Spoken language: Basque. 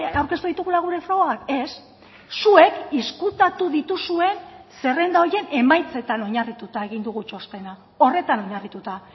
aurkeztu ditugula gure frogak ez zuek ezkutatu dituzuen zerrenda horien emaitzetan oinarrituta egin dugu txostena horretan oinarrituta